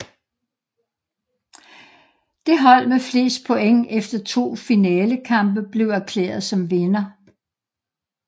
Det hold med flest point efter to finalekampe blev erklæret som vinder